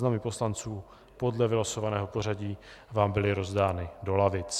Seznamy poslanců podle vylosovaného pořadí vám byly rozdány do lavic.